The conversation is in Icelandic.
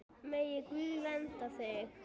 Megi Guð vernda þig.